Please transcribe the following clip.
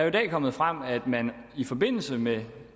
i dag kommet frem at man i forbindelse med